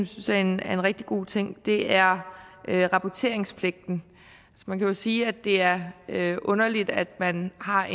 synes er en rigtig god ting er rapporteringspligten man kan jo sige at det er underligt at man har